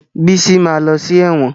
Bísí ma lọ sí ẹ̀wọ̀n